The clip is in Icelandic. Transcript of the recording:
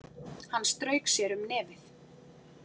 Hann strauk sér um nefið.